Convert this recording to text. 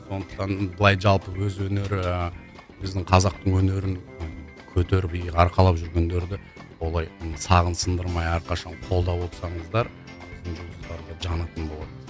сондықтан былай жалпы өз өнері біздің қазақтың өнерін көтеріп иық арқалап жүргендерді олай сағын сындырмай әрқашан қолдап отырсаңыздар жұлдыздар да жанатын болады